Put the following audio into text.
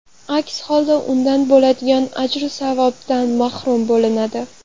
Aks holda undan bo‘ladigan ajru savobdan mahrum bo‘linadi.